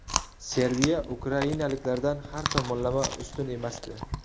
Serbiya ukrainaliklardan har tomonlama ustun emasdi.